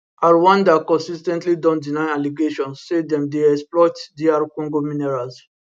rwanda consis ten tly don deny allegations say dem dey exploit dr congo minerals